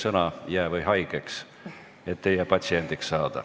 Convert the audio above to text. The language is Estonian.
Tõesõna, jää või haigeks, et teie patsiendiks saada.